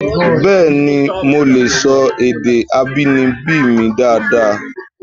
Bẹẹni, mo lè sọ èdè abínibí mi dáadáa